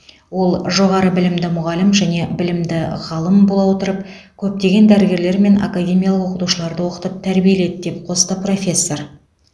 ол жоғары білімді мұғалім және білімді ғалым бола отырып көптеген дәрігерлер мен академиялық оқытушыларды оқытып тәрбиеледі деп қосты профессор